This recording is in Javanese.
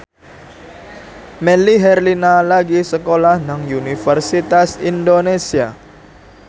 Melly Herlina lagi sekolah nang Universitas Indonesia